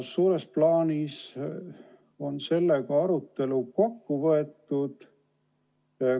Suures plaanis on sellega arutelu kokku võetud.